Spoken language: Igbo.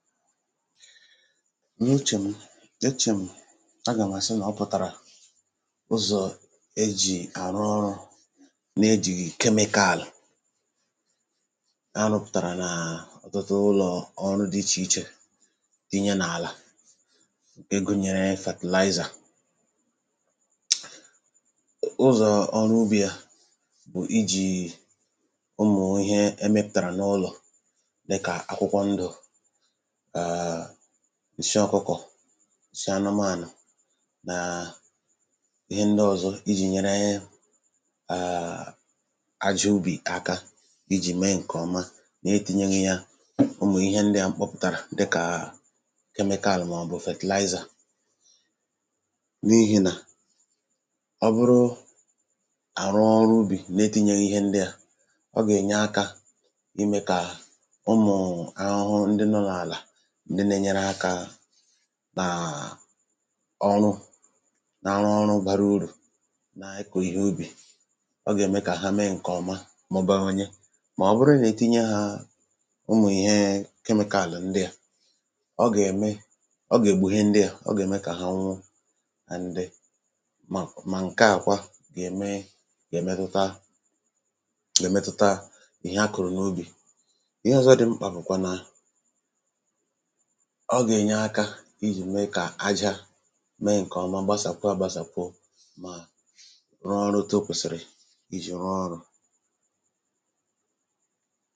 n’uchè m̀ e chè m̀ agà m̀ àsị n’ọpụ̀tàrà ụzọ̀ ejì àrụ ọrụ̇ na-ejìghì kemịkaàlụ̀ arụ̇pụ̀tàrà na à ọ̀tụtụ ụlọ̀ọrụ̇ dị ichè ichè tinye n’àlà ịgụ̇nyere fertilizer ụzọ̇ ọrụ ubì a bụ̀ ijìì ụmụ̀ ihe emepùtàrà n’ụlọ̀ dịkà akwụkwọ ndù ǹshị ọkụkọ̀ shị anụmȧnụ̀ nàà ihe ndị ọzọ ijì nyere ehi àjị ubì aka ijì mee ǹkèọma na-etinye gi ya ụmụ̀ ihe ndịà mkpọpụtara dịkà kemịkal màọbụ̀ fertilizer n’ihì nà ọ bụrụ àrụ ọrụ ubì n’etinyeghi ihe ndịà ọ gà-ènye akȧ imė kà ụmụ̀ụ̀ ahụhụ ndị nọ̇ n’àlà n’enyere akȧ nàà ọrụ n’arụ ọrụ bara urù na-ekò ihe ubì ọ gà-ème kà ha mee ǹkè ọma mọbụrụ nye màọbụrụ n’etinye hȧ ụmụ̀ ihe kemịkaàlụ̀ ndịà ọ gà-ème ọ gà-ègbò ihe ndịà ọ gà-ème kà ha nwụnụ and dị mà mà ǹke à kwa gà-ème gà-èmetụta gà-èmetụta ihe akụ̀rụ̀ n’obì ihe ọzọ dị mkpà bụ̀kwà nà ijì mee kà aja mee ǹkèọma gbasàkwuo agbasàkwuo mà rụọ ọrụ̇ tọ́ okwèsìrì iji̇ rụọ ọrụ̇